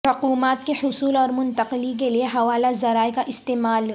رقومات کے حصول اور منتقلی کیلئے حوالہ ذرائع کا استعمال